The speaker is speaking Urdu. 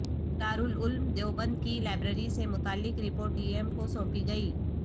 دارالعلوم دیوبند کی لائبریری سے متعلق رپوٹ ڈی ایم کو سونپی گئی